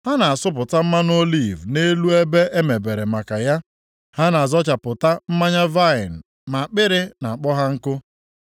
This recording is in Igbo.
Ha na-asụpụta mmanụ oliv nʼelu ebe e mebere maka ya, ha na-azọchapụta mmanya vaịnị ma akpịrị na-akpọ ha nkụ.